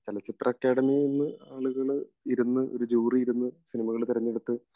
ചലച്ചിത്ര അക്കാദമിന് ആളുകൾ ഇരുന്നു ഒരു ജൂറി ഇരുന്ന് സിനിമകൾ തെരഞ്ഞെടുത്ത